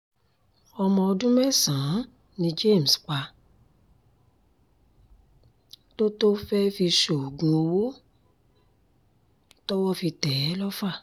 ọmọ ọdún mẹ́sàn-án ni james pa tó tó fẹ́ẹ́ fi ṣoògùn owó tọ́wọ́ fi tẹ̀ é lọ́fà